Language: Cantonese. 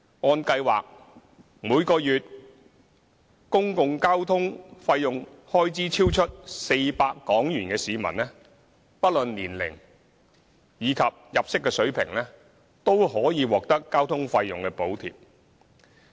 按計劃，每月公共交通開支超出400元的市民，不論年齡及入息水平，均可獲得交通費用補貼。